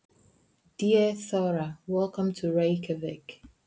Kæra Þóra. Velkomin til Reykjavíkur.